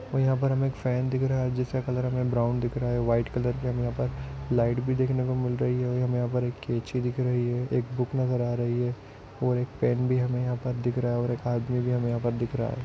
और हमे यहाँ पर एक फैन रहा हैं जिसका कलर हमे ब्रॉउन दिख रहा हैं वाइट कलर लाइट भी हमे देखने को मिल रही हैं और हमे यहाँ पर कैची दिख रही हैं एक बुक नजर आ रही हैं और एक पेन भी हमे यहाँ पर दिख रहा हैं और एक आदमी भी हमे यहाँ पर हमे पर दिख रहा है।